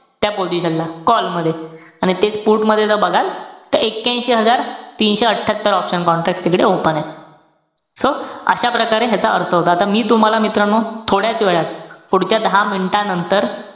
त्या position ला, call मध्ये. आणि तेच put मध्ये ज बघाल, त एक्क्यांशी हजार तीनशे अठ्ठयात्तर option contract तिकडे open एत. so अशा प्रकारे ह्याचा अर्थ होतो. आता, मी तुम्हाला मित्रांनो, थोड्याच वेळात, पुढच्या दहा minute नंतर,